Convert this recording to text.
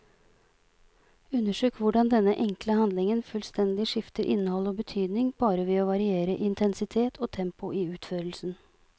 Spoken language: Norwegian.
Undersøk hvordan denne enkle handlingen fullstendig skifter innhold og betydning bare ved å variere intensitet og tempo i utførelsen.